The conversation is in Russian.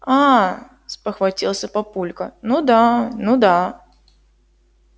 аа спохватился папулька ну да ну да